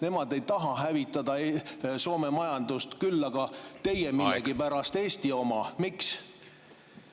Nemad ei taha hävitada Soome majandust, küll aga teie millegipärast Eesti oma.